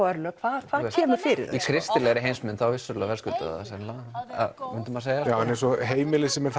örlög hvað kemur fyrir í kristilegri þá vissulega verðskulda þau það myndi maður segja heimili sem er